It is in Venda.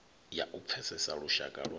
ya u pfesesa lushaka lwa